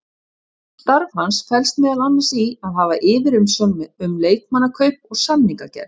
Starf hans felst meðal annars í að hafa yfirsjón um leikmannakaup og samningagerð.